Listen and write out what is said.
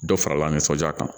Dɔ farala nisɔndiya kan